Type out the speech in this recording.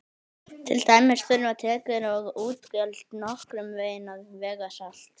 til dæmis þurfa tekjur og útgjöld nokkurn veginn að vega salt